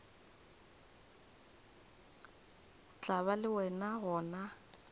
tla ba le wena gona